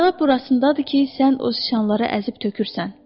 Bəla burasındadır ki sən o siçanları əzib tökürsən.